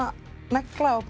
negla og